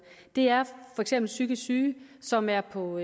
det er for eksempel psykisk syge som er på